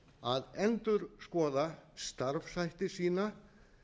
að endurskoða starfshætti sína